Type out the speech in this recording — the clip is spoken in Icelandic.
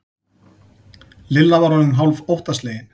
Lilla var orðin hálf óttaslegin.